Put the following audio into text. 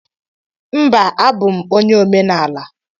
Mba, abum onye omenaala.